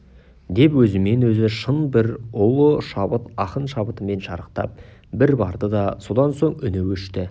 деп өзімен өзі шын бір ұлы шабыт ақын шабытымен шарықтап бір барды да содан соң үні өшті